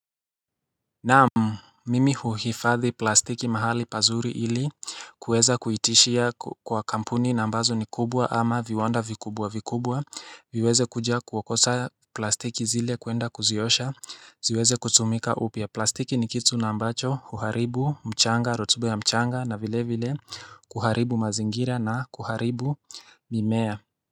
Naam mimi huhifadhi plastiki mahali pazuri ili kuweza kuitishia kwa kampuni na ambazo ni kubwa ama viwanda vikubwa vikubwa viweze kuja kuwakosa plastiki zile kuenda kuziosha ziweze kutumika upya plastiki ni kitu na ambacho huharibu mchanga rotuba ya mchanga na vile vile kuharibu mazingira na kuharibu mimea.